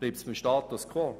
Bleibt es beim Status quo?